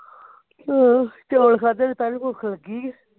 ਹੋਰ ਚੋਲ ਖਾਧੇ ਤੇ ਤਾਂਵੀ ਭੁੱਖ ਲੱਗੀ ਐ